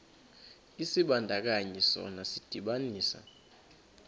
isibandakanyi sona sidibanisa